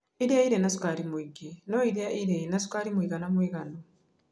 Iria irĩ na cukari mũingĩ no iria irĩ na cukari mũigana mũiganu.